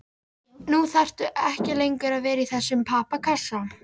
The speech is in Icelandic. Nú þarftu ekki lengur að vera í þessum pappakassa.